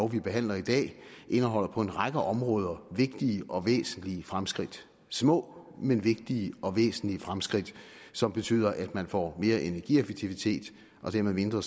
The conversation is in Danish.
vi behandler i dag indeholder på en række områder vigtige og væsentlige fremskridt små men vigtige og væsentlige fremskridt som betyder at man får mere energieffektivitet og dermed mindre